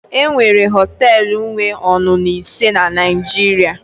enwere họtelu wee ọṅụṅụ ise na Nigeria